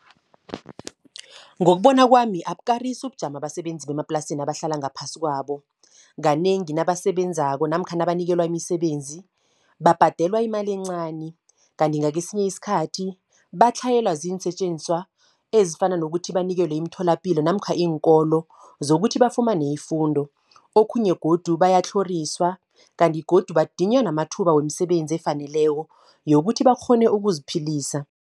Ngokubona kwami, abukarisi ubujamo abasebenzi bemaplasini abahlala ngaphasi kwabo. Kanengi nabasebenzako namkha nabanikelwa imisebenzi, babhadelwa imali encani. Kanti ngakesinye isikhathi, batlhayelwa ziinsetjenziswa ezifana nokuthi banikelwe imtholapilo, namkha iinkolo, zokuthi bafumane ifundo. Okhunye godu bayatlhoriswa, kanti godu badinywa namathuba wemisebenzi efaneleko, yokuthi bakghone ukuziphilisa.